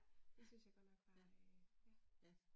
Ah, ja, ja